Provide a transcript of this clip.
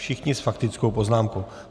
Všichni s faktickou poznámkou.